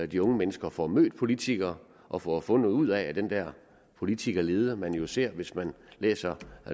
de unge mennesker får mødt politikere og får fundet ud af at den der politikerlede man jo ser hvis man læser